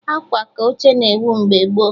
Akwa aka oche na-ewu mgbe gboo